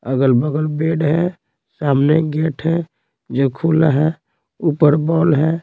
अगल-बगल बेड है सामने गेट है जो खुला है ऊपर बॉल है।